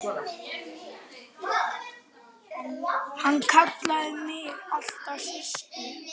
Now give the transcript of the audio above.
Hann kallaði mig alltaf Systu.